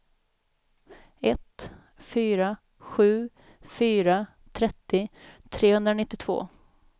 ett fyra sju fyra trettio trehundranittiotvå